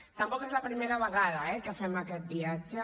tampoc és la primera vegada eh que fem aquest viatge